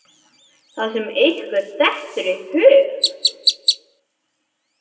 Það sem ykkur dettur í hug!